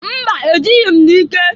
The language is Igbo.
Mba! E jịghị m n'ike.